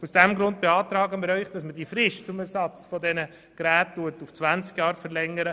Aus diesem Grund beantragen wir, die Frist für den Ersatz der Geräte von 15 auf 20 Jahre zu verlängern.